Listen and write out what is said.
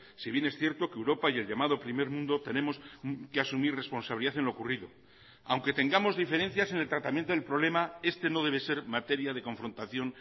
si bien es cierto que europa y el llamado primer mundo tenemos que asumir responsabilidad en lo ocurrido aunque tengamos diferencias en el tratamiento del problema este no debe ser materia de confrontación